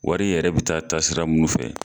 Wari yɛrɛ bɛ taa taasira mun fɛ.